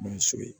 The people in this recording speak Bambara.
Bamuso ye